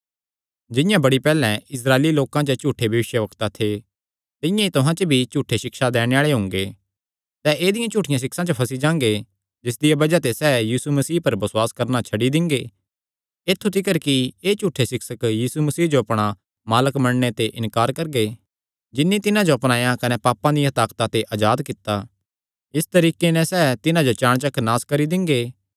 जिंआं बड़ी पैहल्ले इस्राएली लोकां च झूठे भविष्यवक्ता थे तिंआं ई तुहां च भी झूठी सिक्षा दैणे आल़े हुंगे सैह़ ऐदिआं झूठियां सिक्षां च फंसी जांगे जिसदिया बज़ाह ते सैह़ यीशु मसीह पर बसुआस करणा छड्डी दिंगे ऐत्थु तिकर कि एह़ झूठे सिक्षक यीशु मसीह जो अपणा मालक मन्नणे ते इन्कार करगे जिन्नी तिन्हां जो अपनाया कने पापे दिया ताकता दे अजाद कित्ता इस तरीके नैं सैह़ तिन्हां जो चाणचक नास करी दिंगे